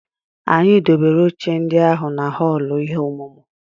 Anyị dobere oche ndị ahụ na họọlụ ihe ọmụmụ.